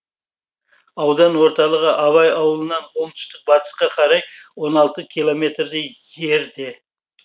аудан орталығы абай ауылынан оңтүстік батысқа қарай он алты километрдей жерде